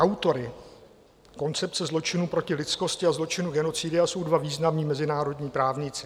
Autory koncepce zločinů proti lidskosti a zločinu genocidy jsou dva významní mezinárodní právníci.